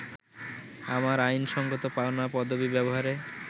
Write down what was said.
আমার আইনসঙ্গত পাওনা পদবি ব্যবহারে